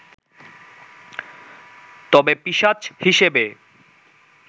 তবে পিশাচ হিসেবে